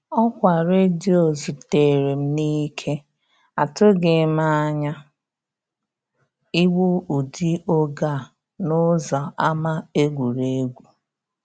Ọkwa redio zutere m n'ike; atụghị m anya igbu ụdị oge a n'ụzọ ama egwuregwu.